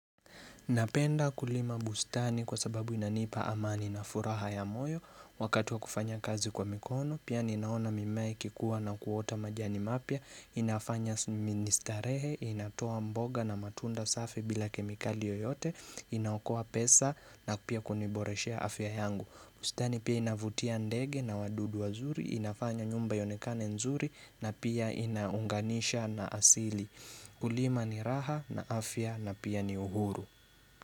Napenda kulima bustani kwa sababu inanipa amani na furaha ya moyo wakatu wa kufanya kazi kwa mikono, pia ninaona mimea ikikuwa na kuota majani mapya, inafanya ministarehe, inatoa mboga na matunda safi bila kemikali yoyote, inaokoa pesa na pia kuniboreshea afya yangu. Bustani pia inavutia ndege na wadudu wazuri, inafanya nyumba ionekane nzuri na pia inaunganisha na asili. Kulima ni raha na afya na pia ni uhuru.